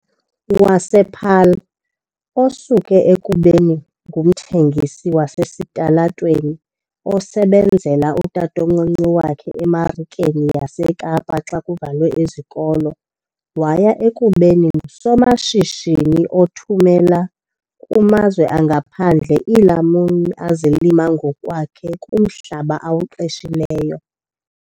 wasePaarl, osuke ekubeni ngumthengisi wasesitalatweni osebenzela utatomncinci wakhe eMarikeni yaseKapa xa kuvalwe izikolo waya ekubeni ngusomashishini othumela kumazwe angaphandle iilamuni azilima ngokwakhe kumhlaba awuqeshileyo.